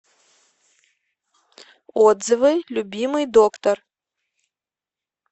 отзывы любимый доктор